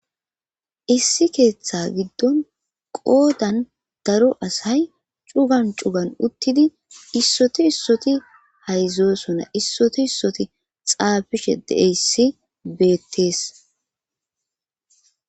Issi keeththa giddon qoodan daro asay c'ugan c'ugan uttidi issoti issoti haydzosona issoti issoti xaafishe deeyssi beettees